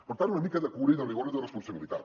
per tant una mica de cura i de rigor i de responsabilitat